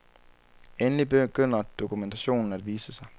Endelig begynder dokumentationen at vise sig.